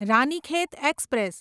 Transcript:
Ranikhet express